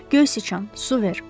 Göy sıçan, su ver.